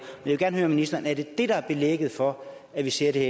vil gerne høre ministeren er det det der er belægget for at vi ser det